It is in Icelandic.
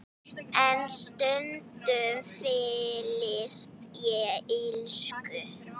En stundum fyllist ég illsku.